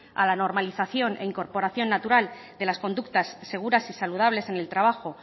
a la normalización e incorporación natural de las conductas seguras y saludables en el trabajo